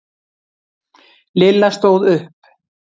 Lilla stóð upp.